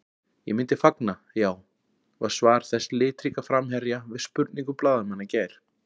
Ég myndi fagna, já, var svar þessa litríka framherja við spurningum blaðamanna í gær.